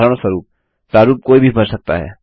उदाहरणस्वरूप प्रारूप कोई भी भर सकता है